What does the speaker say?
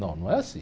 Não, não é assim.